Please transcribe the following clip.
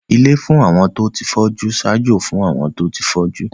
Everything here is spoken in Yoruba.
Ilé fún àwọn tó fọ́jú ń ṣaájó fún àwọn tó ti fọ́jú